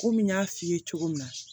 Komi n y'a f'i ye cogo min na